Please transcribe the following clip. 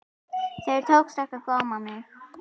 Þér tókst ekki að góma mig.